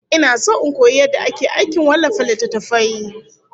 Ina son in koyi yadda ake aikin wallafa littattafai